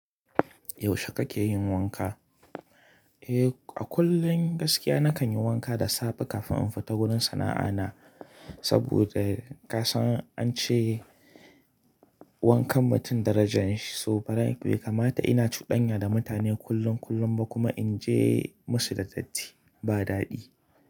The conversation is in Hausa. Yaushe kakeyin wanka? Eh, a kullum gaskiya na kanyi wanka da safe kafin in fita wurin sana'a na. Saboda ka san an ce. Wankan mutum darajan shi. So farai bai kamata ina cudanya da mutane kullum--kullum ba kuma in je musu da datti ba daɗi.